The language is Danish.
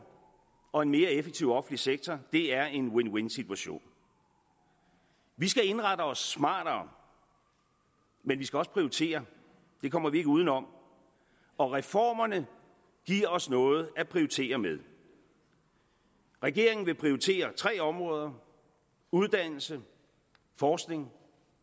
og en mere effektiv offentlig sektor er en win win situation vi skal indrette os smartere men vi skal også prioritere det kommer vi ikke udenom og reformerne giver os noget at prioritere med regeringen vil prioritere tre områder uddannelse forskning